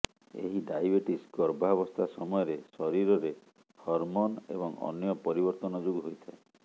ଏହି ଡାଇବେଟିସ୍ ଗର୍ଭାବସ୍ଥା ସମୟରେ ଶରୀରରେ ହର୍ମୋନ୍ ଏବଂ ଅନ୍ୟ ପରିବର୍ତ୍ତନ ଯୋଗୁ ହୋଇଥାଏ